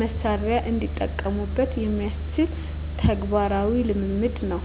መሣሪያ እንዲጠቀሙበት የሚያስችል ተግባራዊ ልምምድ ነው።